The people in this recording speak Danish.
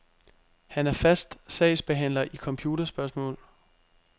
Han er fast sagsbehandler i computerspørgsmål.